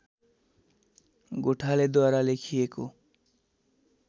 गोठालेद्वारा लेखिएको